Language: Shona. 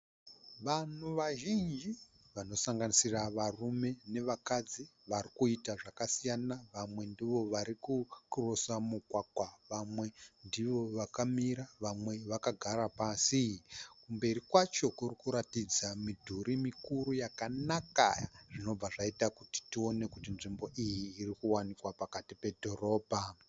Vanhu vazhinji vanosanganisira varume nevakadzi. Varikuita zvakasiyana, vamwe ndivo varikukurosa mugwagwa vamwe ndivo vakamira vamwe vakagara pasi. Kumberi kwacho kurikuratidza midhuri mikuru yakanaka zvinobva zvaita kuti tione kuti nzvimbo iyi irikuwanikwa pakati oedhirobha